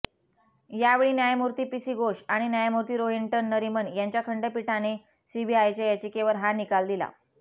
यावेळी न्यायमूर्ती पीसी घोष आणि न्यायमूर्ती रोहिंटन नरीमन यांच्या खंडपीठाने सीबीआयच्या याचिकेवर हा निकाल दिला